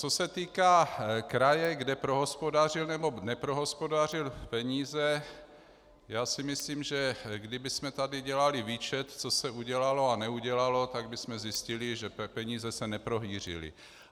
Co se týká kraje, který prohospodařil nebo neprohospodařil peníze, já si myslím, že kdybychom tady dělali výčet, co se udělalo a neudělalo, tak bychom zjistili, že peníze se neprohýřily.